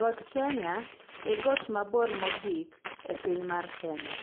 Got Kenya e got mabor mogik, e piny mar Kenya.